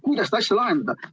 Kuidas seda asja lahendada?